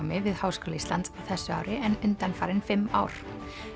við Háskóla Íslands á þessu ári en undanfarin fimm ár